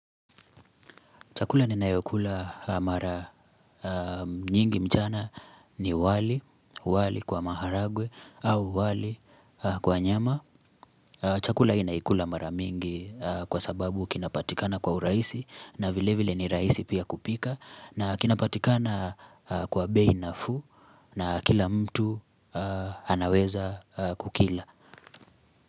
Chakula ni nayokula mara nyingi mchana ni wali, wali kwa maharagwe au wali kwa nyama. Chakula hii naikula mara mingi kwa sababu kinapatikana kwa urahisi na vile vile ni rahisi pia kupika. Na kinapatikana kwa bei nafuu na kila mtu anaweza kukila.